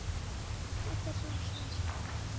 Þetta er bara svona.